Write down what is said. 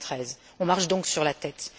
2013. Nous marchons donc sur la tête.